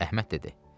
Əhməd dedi: